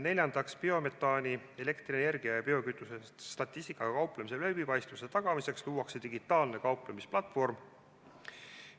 Neljandaks, biometaani, elektrienergia ja biokütuse statistikaga kauplemise läbipaistvuse tagamiseks luuakse digitaalne kauplemisplatvorm.